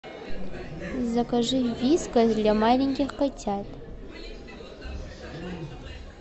закажи вискас для маленьких котят